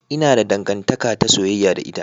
Ina da dangantaka ta soyayya da ita.